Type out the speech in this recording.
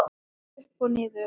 Upp og niður.